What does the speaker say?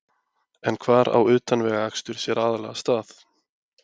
En hvar á utanvegaakstur sér aðallega stað?